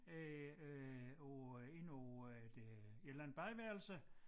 Øh øh på inde på øh et øh et eller andet badeværelse